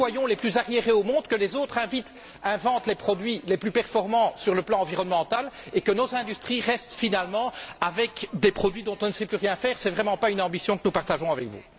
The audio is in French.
Que nous soyons les plus arriérés au monde, que les autres inventent les produits les plus performants sur le plan environnemental et que nos industries restent, finalement, avec des produits dont on ne sait plus rien faire? Ce n'est vraiment pas une ambition que nous partageons avec vous.